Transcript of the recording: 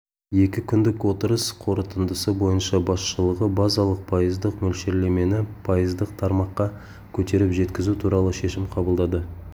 екі күндік отырыс қорытындысы бойынша басшылығы базалық пайыздық мөлшерлемені пайыздық тармаққа көтеріп жеткізу туралы шешім қабылдады